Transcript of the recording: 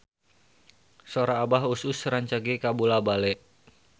Sora Abah Us Us rancage kabula-bale